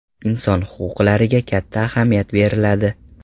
Inson huquqlariga katta ahamiyat beriladi.